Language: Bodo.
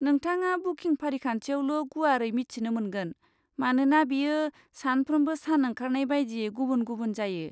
नोंथाङा बुकिं फारिखान्थियावल' गुवारै मिथिनो मोनगोन, मानोना बेयो सानफ्रोमबो सान ओंखारनाय बायदियै गुबुन गुबुन जायो।